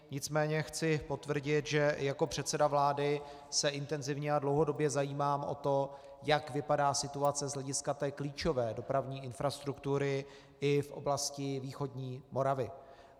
Nicméně chci potvrdit, že jako předseda vlády se intenzivně a dlouhodobě zajímám o to, jak vypadá situace z hlediska té klíčové dopravní infrastruktury i v oblasti východní Moravy.